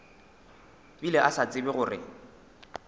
bile a sa tsebe gore